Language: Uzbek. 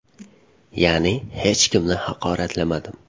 Ya’ni hech kimni haqoratlamadim.